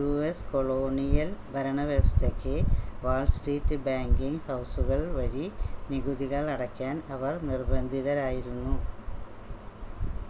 u.s colonial ഭരണവ്യവസ്ഥയ്ക്ക് Wall Street banking ഹൗസുകൾ വഴി നികുതികൾ അടയ്ക്കാൻ അവർ നിർബ്ബന്ധിതരായിരുന്നു